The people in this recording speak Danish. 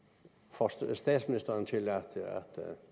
får statsministeren til at